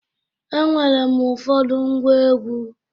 Enwere m ụfọdụ ngwa egwu.